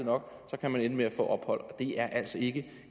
nok kan man ende med at få ophold og det er altså ikke